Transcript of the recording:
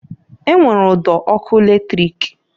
E nwere udo (eriri) ọkụ latrik.